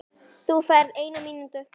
Svo vék myrkrið burt.